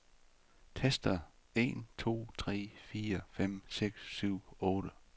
Tester en to tre fire fem seks syv otte.